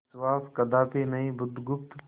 विश्वास कदापि नहीं बुधगुप्त